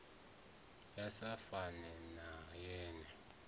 ya sa fane na ye